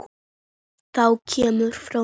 Það kemur frá Noregi.